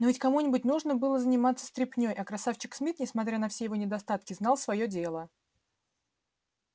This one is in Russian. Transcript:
но ведь кому-нибудь нужно было заниматься стряпнёй а красавчик смит несмотря на все его недостатки знал своё дело